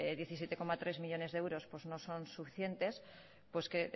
diecisiete coma tres millónes de euros pues no son suficientes pues que